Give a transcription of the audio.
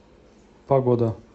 погода